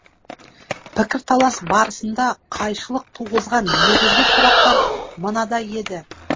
пікірталас барысында қайшылық туғызған негізгі сұрақтар мынадай еді